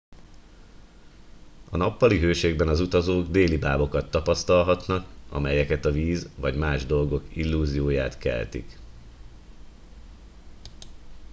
a nappali hőségben az utazók délibábokat tapasztalhatnak amelyek a víz vagy más dolgok illúzióját keltik